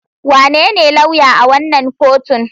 Wanene lauya a wannan kotun?